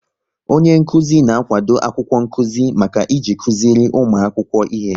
Onyenkụzi na-akwado akwụkwọ nkụzi maka iji kụziri ụmụ akwụkwọ ihe